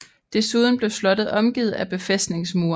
Desuden blev slottet omgivet af befæstningsmure